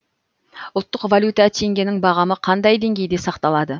ұлттық валюта теңгенің бағамы қандай деңгейде сақталады